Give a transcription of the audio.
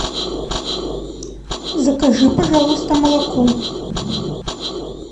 закажи пожалуйста молоко